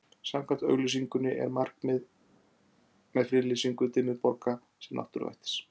Samkvæmt auglýsingunni er markmiðið með friðlýsingu Dimmuborga sem náttúruvættis